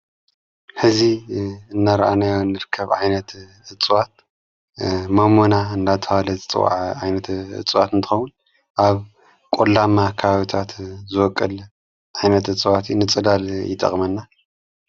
ሕዙ እነርኣነዮ ንርከብ ዓይነት እፅዋት ሞሞና እንናተብሃለ ዝፀዋዕ ዓይነት እፅዋት ንትኸዉን ኣብ ቖላማ ከባቢታት ዝወቕል ኣይነት እጽዋቲ ንጽላል ይጠቕመና::